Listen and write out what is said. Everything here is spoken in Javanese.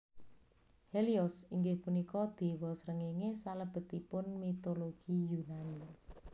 Helios inggih punika déwa srengéngé salebetipun mitologi Yunani